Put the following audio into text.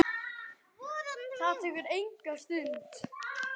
Það tekur enga stund.